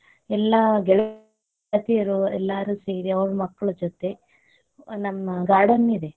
ಎಲ್ಲಾ ಗೆಳತಿಯರೂ ಎಲ್ಲರೂ ಸೇರಿ ಅವರ್ ಮಕ್ಕಳ್ ಜೊತೆ, ನಮ್ garden ಇದೆ.